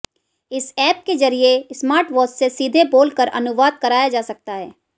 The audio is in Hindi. इस ऐप के जरिये स्मार्टवॉच से सीधे बोलकर अनुवाद कराया जा सकता है